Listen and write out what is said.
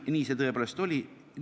Nii see tõepoolest oli.